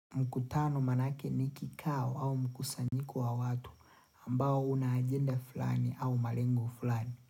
Mkutano maanake ni kikao au mkusanyiko wa watu ambao una agenda fulani au malengo fulani.